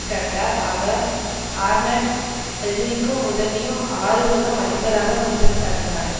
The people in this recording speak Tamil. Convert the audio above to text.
கண்டார் அவர் ஆர்நெட் எதிரிக்கு உதவியும் ஆறுதலும் அளிப்பதாக குற்றம் சாட்டினார்